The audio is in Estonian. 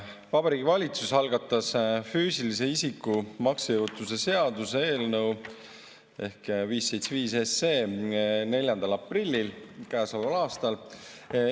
Vabariigi Valitsus algatas füüsilise isiku maksejõuetuse seaduse eelnõu ehk eelnõu 575 käesoleva aasta 4. aprillil.